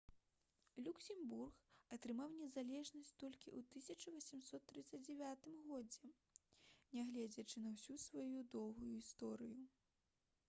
люксембург атрымаў незалежнасць толькі ў 1839 годзе нягледзячы на ўсю сваю доўгую гісторыю